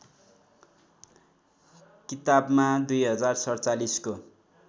किताबमा २०४७ को